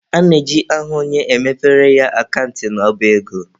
A na-eji aha onye, e mepere ya akant n'ọba ego.